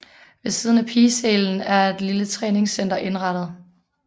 Ved siden af pigesalen er et lille træningscenter indrettet